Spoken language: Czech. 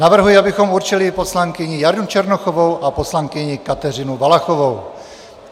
Navrhuji, abychom určili poslankyni Janu Černochovou a poslankyni Kateřinu Valachovou.